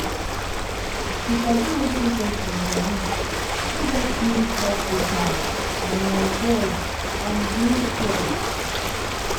to sabi wetin person believe fit help you talk with am um well and build trust.